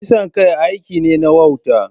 Kisan kai aiki ne na wauta.